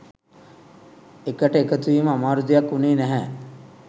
එකට එකතුවීම අමාරුදෙයක් උනේ නැහැ.